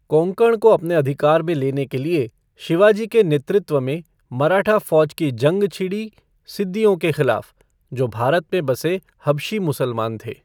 कोंकण को अपने अधिकार में लेने के लिए शिवाजी के नेतृत्व में मराठा फ़ौज की जंग छिड़ी सिद्दियों के खिलाफ़, जो भारत में बसे हबशी मुसलमान थे।